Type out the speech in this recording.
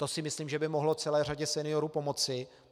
To si myslím, že by mohlo celé řadě seniorů pomoci.